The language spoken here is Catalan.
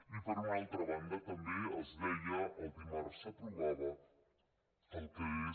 i per una altra banda també els deia el dimarts s’aprovava el que és